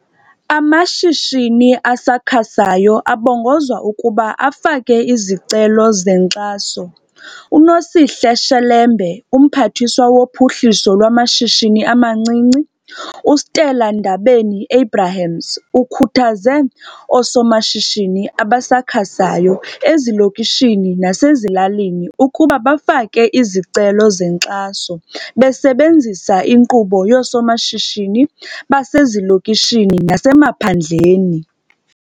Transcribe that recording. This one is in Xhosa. Amashishini asakhasayo abongozwa ukuba afake izicelo zenkxaso. uNosihle Shelembe. UMphathiswa woPhuhliso lwamaShishini amaNcinci, uStella Ndabeni-Abrahams, ukhuthaze oosomashishini abasakhasayo ezilokishini nasezilalini ukuba bafake izicelo zenkxaso besebenzisa inkqubo yooSomashishini Basezilokishini naseMaphandleni.